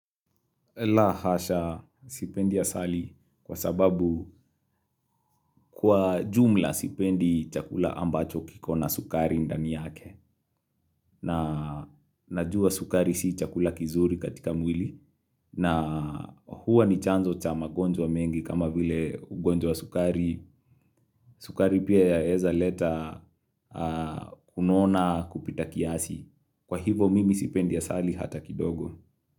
La hasha sipendi asali kwa sababu kwa jumla sipendi chakula ambacho kikona sukari ndani yake na najua sukari si chakula kizuri katika mwili na huwa ni chanzo cha magonjwa mengi kama vile ugonjwa wa sukari. Sukari pia yaeza leta kunona kupita kiasi. Kwa hivo mimi sipendi asali hata kidogo.